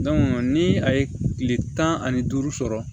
ni a ye kile tan ani duuru sɔrɔ